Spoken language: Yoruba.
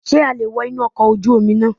Sé a le è wo inú ọkọ̀ ojú Omi náà